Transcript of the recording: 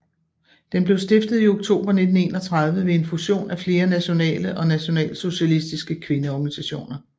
Den blev stiftet i oktober 1931 ved en fusion af flere nationale og nationalsocialistiske kvindeorganisationer